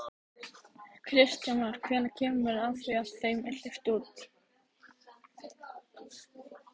Kristján Már: Hvenær kemur að því að þeim er hleypt út?